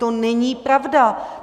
To není pravda.